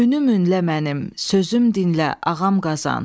Ünüm ünə mənim, sözüm dinlə, Ağam Qazan.